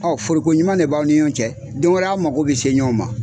foliko ɲuman de b'aw ni ɲɔɔn cɛ, don wɛrɛ a' mago be se ɲɔɔn ma.